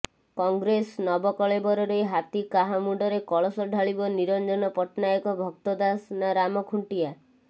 କଂଗ୍ରେସ ନବକଳେବରରେ ହାତୀ କାହା ମୁଣ୍ତରେ କଳସ ଢ଼ାଳିବ ନିରଞ୍ଜନ ପଟ୍ଟନାୟକ ଭକ୍ତ ଦାସ ନା ରାମ ଖୁଣ୍ଟିଆ